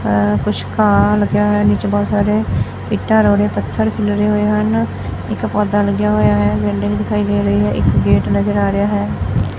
ਹਾਂ ਕੁਛ ਘਾਹ ਲੱਗਾ ਹੋਇਆ ਨੀਚੇ ਬਹੁਤ ਸਾਰੇ ਇੱਟਾਂ ਰੋੜੇ ਪੱਥਰ ਖਿੱਲਰੇ ਹੋਏ ਹਨ ਇੱਕ ਪੌਧਾ ਲੱਗਿਆ ਹੋਇਆ ਹੈ ਬਿਲਡਿੰਗ ਦਿਖਾਈ ਦੇ ਰਹੀ ਹੈ ਇੱਕ ਗੇਟ ਨਜ਼ਰ ਆ ਰਿਹਾ ਹੈ।